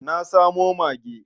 Na samo mage.